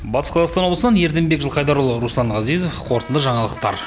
батыс қазақстан облысынан ерденбек жылқайдарұлы руслан ғазизов қорытынды жаңалықтар